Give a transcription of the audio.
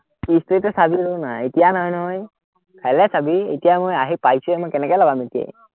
story টো চাবি ৰ না, এৰ এতিয়া নহয়, নহয়। কাইলে চাবি, এতিয়া মই আহি পাইছোহে মই, কেনেকে লগাম এতিয়াই